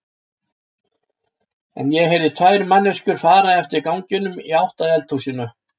En ég heyrði tvær manneskjur fara eftir ganginum í átt að eldhúsinu.